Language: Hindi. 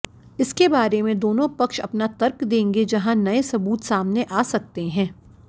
इस बारे में दोनों पक्ष अपना तर्क देंगे जहाँ नए सबूत सामने आ सकते हैं